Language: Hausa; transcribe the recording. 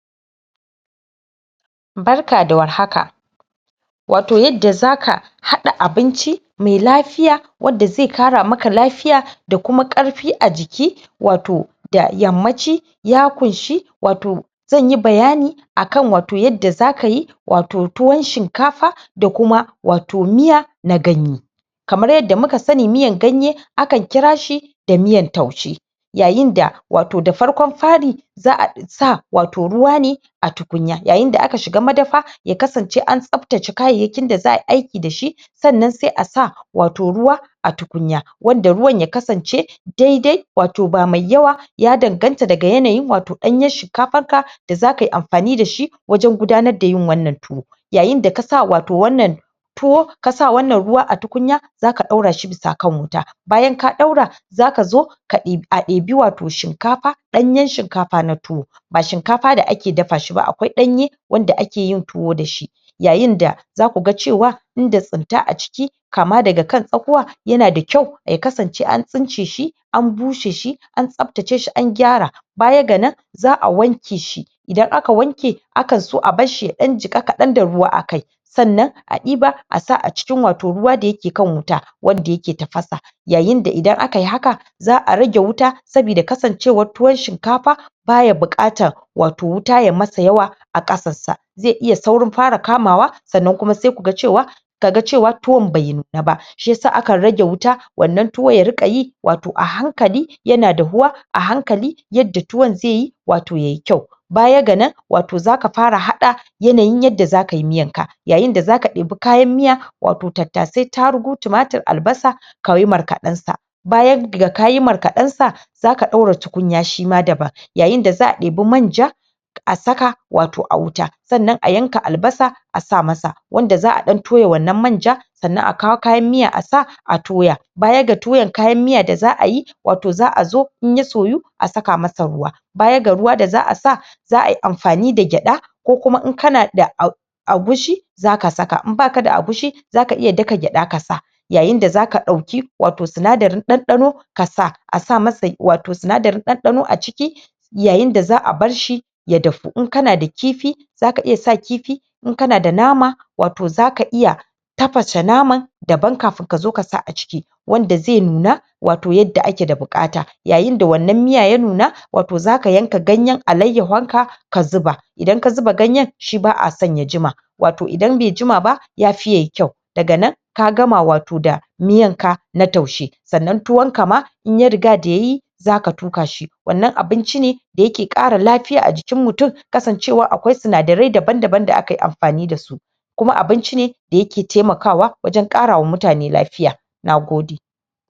Barka da war haka Wato yanda zaka hada abinci mai lafiya wanda zai ƙara maka lafiya da kuma ƙarfi a jiki Wato da yammaci ya kunshi Wato zanyi bayani akan Wato yanda za kayi Wato tuwan shinkafa da kuma Wato Miya Wato da yammaci ya kunshi Wato zanyi bayani akan Wato yanda za kayi Wato tuwan shinkafa da kuma Wato Miya na ganye kamar yanda muka sani Miyan ganye akan kirashi da miyan taushe yayin da Wato da farkon fari zaa sa Wato ruwa ne a tukunya yayin da akan shiga madafa ya kasance a tsaftace kayayyakin da zaayi aiki da shi sannan sai a sa wato ruwa a tukunya wanda ruwan ya kasance dai dai wato ba mai yawa ya danganta daga yanayi wato danyen shinkafan ka da zaka yi amfani da shi wajen gudanar da yin wannan tuwo yayin da kasa wato wannan tuwo kasa wannan ruwa a tukunya zaka daura shi bisa kan wuta bayan ka daura zaka zo a dibi wato shinkafa danyen shinkafa na tuwo ba shinkafa da ake dafa shi ba akwai Danye wanda akeyin tuwo da shi yayin da zaku ga cewa inda tsibta a ciki kama daga kan tsakuwa yana da kyau ya kasance an tsince shi an bushe shi an tsabtace shi an gyara bayan ga nan zaa wanke shi idan aka wanke aka zo a barshi ya dan jika kadan da ruwa akai sannan a diba a sa Wato a cikin ruwa da yake kan wuta wanda yake tafasa yayin da idan akayi haka za a rage wuta saboda kasancewan tuwan shinkafa baya buqatan wato ruwa ya masa yawa a kasan sa zai iya saurin fara kamawa sannan kuma sai kaga cewa ka ga ciki tuwan bai nuna ba shiyasa akan rage wuta wannan tuwo ya rinqa yi wato a hankali yana dahuwa a hankali yadda tuwan zaiyi wato yayi kyau bayan ga nan wato zaka fara hada yanayin yanda zakayi miyan ka yayin da zaka ɗebi kayan miya wato tattasai tarugu tumatur albasa ka kai markaden sa bayan da kayi markaden zaka daura tukunya Shima daban yayi da zaa ɗebi manja a saka wato a wuta sannan a yanka albasa a sa masa wanda zaa toya wannan manja sannan a kawo kayan Miya a sa a toya bayan ga tuyen kayan miyan da zaayi wato zaa zo in ya soyu a saka masa ruwa baya ga ruwa da zaa sa za ayi amfani da gyada ko kuma in kana da agushi zaka saka in baka da agushi zaka iya daka gyada ka sa yayin da zaka dauki wato sinadarin dandano ka sa a sa masa wato sinadarin dandano a ciki yayin da zaa barshi ya dahu in kana da kifi zaka iya sa kifi in kana da nama wato zaka iya tafashe naman daban kafin ka sa a ciki wanda zai nuna wato yanda ake da bukata yayin da wannan Miya ya nuna wato zaka yanka ganyen alaiyyahu ka zuba idan ka zuba ganyen shi baa son ya jima wato idan bai jima ba yafi yayi kyau daga nan ka gama wato da miyan ka na taushe sannan tuwan ka ma in ya riga da yayi zaka tuka shi wannan abinci ne da yake ƙara lfy a jikin mutum kasancewar akwai sinadarai daban daban da akayi amfani da su kuma abinci ne da yake taimakawa wajen karawa mutane lafiya nagode